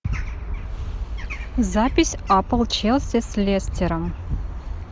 запись апл челси с лестером